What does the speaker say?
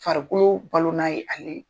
Farikolo balonan ye ale .